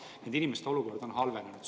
Nende inimeste olukord on halvenenud.